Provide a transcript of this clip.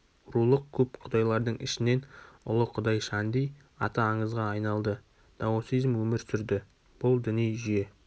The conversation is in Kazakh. рулық көп құдайлардың ішінен ұлы құдай шанди аты аңызға айналды даосизм өмір сүрді бүл діни жүйе